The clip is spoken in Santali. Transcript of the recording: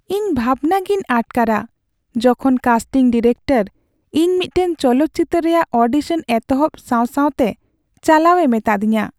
ᱤᱧ ᱵᱷᱟᱵᱽᱱᱟᱜᱮᱧ ᱟᱴᱠᱟᱨᱟ ᱡᱚᱠᱷᱚᱱ ᱠᱟᱥᱴᱤᱝ ᱰᱤᱨᱮᱠᱴᱚᱨ ᱤᱧ ᱢᱤᱫᱴᱟᱝ ᱪᱚᱞᱚᱛ ᱪᱤᱛᱟᱹᱨ ᱨᱮᱭᱟᱜ ᱚᱰᱤᱥᱚᱱ ᱮᱛᱚᱦᱚᱵ ᱥᱟᱶ ᱥᱟᱶᱛᱮ ᱪᱟᱞᱟᱣᱮ ᱢᱤᱛᱟᱹᱫᱤᱧᱟ ᱾